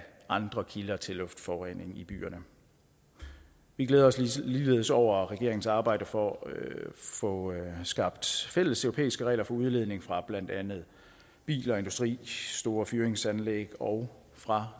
andre kilder til luftforurening i byerne vi glæder os ligeledes over regeringens arbejde for at få skabt fælles europæiske regler for udledning fra blandt andet biler industri store fyringsanlæg og fra